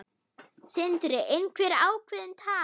Sindri: Einhver ákveðin tala?